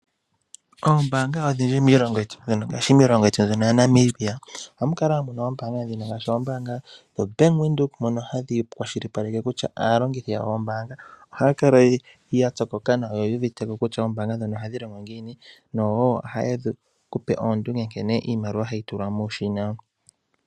Oombaanga odhindji miilongo yetu mono, ngashi miilongo yetu mbyono ya Namibia, oha mu kala muna oombaanga odhindji, ngaahi, ombaanga ndjoka yo Bank Windhoek, ndhono ha dhi kwashilipaleke kutya, aalongithi yoombaangaa oha ya pyokoka nawa no yu uviteko kutya oombanga ndho oha dhi longo ngiini, no ha ye ku pe oondunge nkene iimaliwa ha yi tulwa mooshina.